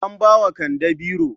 An ba wa kande biro.